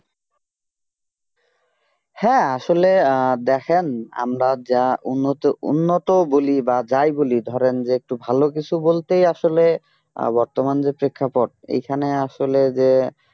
হ্যাঁ আসলে আহ দেখেন আমরা যা উন্নত উন্নত বলি বা যাই বলি ধরেন যে একটু ভালো কিছু বলতেই আসলে বর্তমান যে প্রেক্ষাপট এখানে আসলে যে